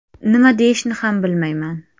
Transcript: Nima deyishni ham bilmayman.